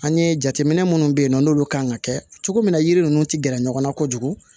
An ye jateminɛ minnu bɛ yen nɔ n'olu kan ka kɛ cogo min na yiri ninnu tɛ gɛrɛ ɲɔgɔn na kojugu